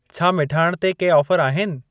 छा मिठाण ते के ऑफर आहिनि?